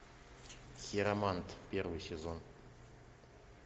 хиромант первый сезон